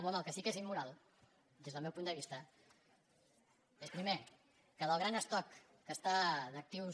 home el que sí que és immoral des del meu punt de vista és primer que del gran estoc d’actius